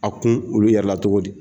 A kun olu yɛrɛ la togo di